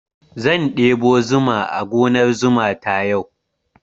Zan ɗebo zuma a gonar zuma ta yau.